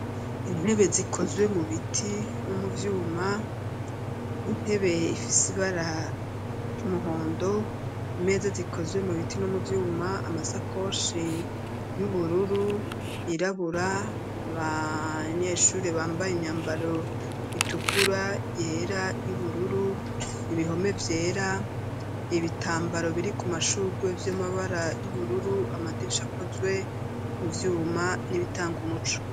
Intebe zikozwe mu biti no mu vyuma, intebe ifise ibara ry'umuhondo, imeza zikozwe mu biti no mu vyuma, amasakoshi y'ubururu yirabura, abanyeshure bambaye imyambaro itukura yera y'ubururu ibihome vyera ibitambaro biri ku mashurwe vy'amabara y'ubururu, amadirisha akozwe mu vyuma n'ibitanga umuco